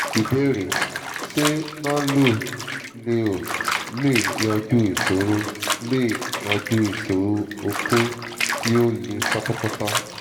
ìbéèrè: ṣé nano-leo lè yanjú ìsòro lè yanjú ìsòro okó tí ò le pátápátá?